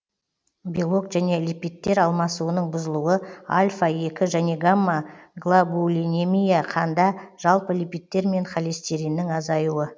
белок және липидтер алмасуының бұзылуы альфа екі және гамма глабулинемия қанда жалпы липидтер мен холостириннің азаюі